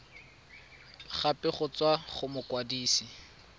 gape go tswa go mokwadise